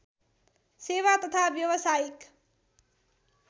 सेवा तथा व्यवसायिक